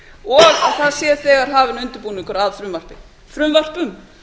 og að það sé þegar hafinn undirbúningur að frumvörpum